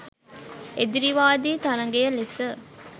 එදිරිවාදී තරඟය ලෙස